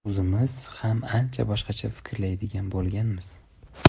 O‘zimiz ham ancha boshqacha fikrlaydigan bo‘lganmiz.